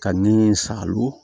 Ka ni salon